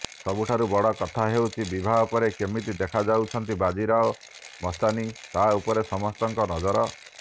ସବୁଠାରୁ ବଡ଼ କଥା ହେଉଛି ବିବାହ ପରେ କେମିତି ଦେଖାଯାଉଛନ୍ତି ବାଜିରାଓ ମସ୍ତାନୀ ତାହା ଉପରେ ସମସ୍ତଙ୍କ ନଜର